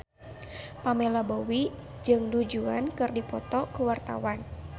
Pamela Bowie jeung Du Juan keur dipoto ku wartawan